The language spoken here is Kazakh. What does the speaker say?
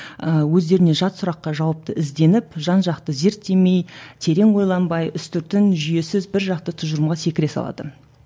ыыы өздеріне жат сұраққа жауапты ізденіп жан жақты зерттемей терең ойланбай үстіртін жүйесіз бір жақты тұжырымға секіре салатын